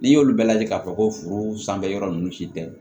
N'i y'olu bɛɛ lajɛ k'a fɔ ko furu sanfɛ yɔrɔ ninnu si tɛ